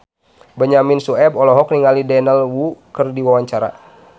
Benyamin Sueb olohok ningali Daniel Wu keur diwawancara